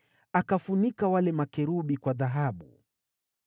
Akafunika wale makerubi kwa dhahabu.